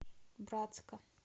братска